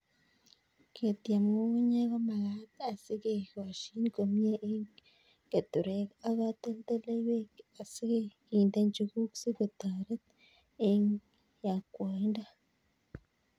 Ketiem ng'ung'unyek ko magat asike koshin komie eng' keturek ak katoltoliwek si kende njuguk si kotoret eng' yakwaindo